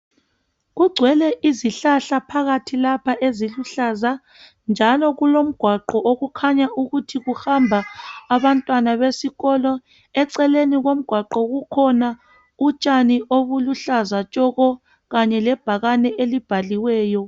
Kugcwele izihlahla phakathi lapha eziluhlaza. Njalo kulomgwaqo okukhanya ukuthi uhamba abantwana besikolo. Eceleni komgwaqo kukhona utshani obuluhlaza tshoko, kanye lebhakani elibhaliweyo.